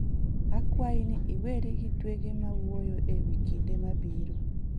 Akwayi ni iweri gi twege ma wuoyo e wi kinde mabiro.